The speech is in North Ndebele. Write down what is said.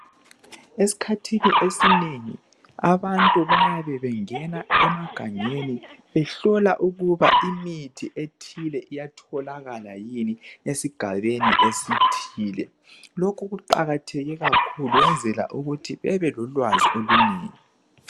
Eskhathini esinengi ,abantu bayabe bengena emagangeni behlola ukuba imithi ethile iyatholakala yini esigabeni esithile .Lokhu kuqakatheke kakhulu kuyenzelwa ukuthi bebelolwazi olunengi .